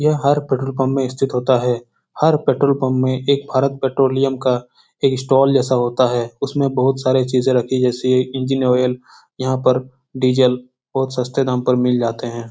यह हर petrol pump में स्थित होता है। हर पेट्रोल पंप में एक भारत पेट्रोलियम का एक स्टॉल जैसा होता है। उसमें बहुत सारे चीजें जैसे रखी इंजन ऑयल यहाँ पर डीजल बोहोत सस्ते दाम पर मिल जाते है।